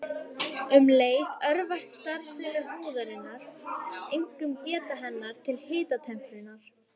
Um leið örvast starfsemi húðarinnar, einkum geta hennar til hitatemprunar.